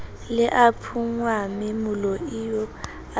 le a phunngwamme moloio a